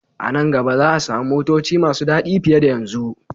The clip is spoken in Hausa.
A nan gaba za a samu motoci masu dadi fiye da yanzu.